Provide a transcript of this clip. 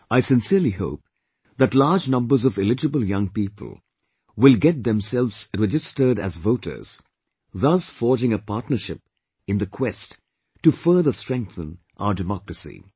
I sincerely hope that large numbers of eligible young people will get themselves registered as voters, thus forging a partnership in the quest to further strengthen our democracy